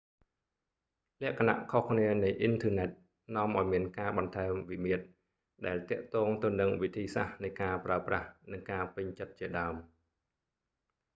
លក្ខណៈខុសគ្នានៃអ៊ីនធឺណិត នាំឱ្យមានការបន្ថែមវិមាត្រ ដែលទាក់ទងទៅនឹងវិធីសាស្ត្រនៃការប្រើប្រាស់ និងការពេញចិត្តជាដើម